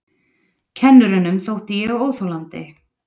Kennurunum þótti ég óþolandi.